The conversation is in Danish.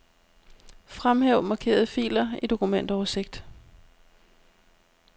Fremhæv markerede filer i dokumentoversigt.